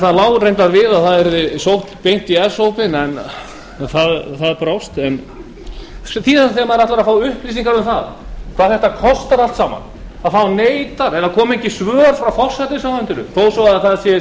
það lá reyndar við að það yrði sótt beint í s hópinn en það brást síðan þegar maður ætlar að fá upplýsingar um hvað þetta allt kostar koma engin svör frá forsætisráðuneytinu þó svo að fjárframlög til ráðuneytisins séu